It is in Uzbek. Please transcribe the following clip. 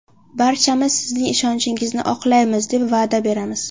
Barchamiz sizning ishonchingizni oqlaymiz deb va’da beramiz.